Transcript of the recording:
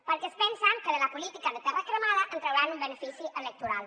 perquè es pensen que de la política de terra cremada en trauran un benefici electoral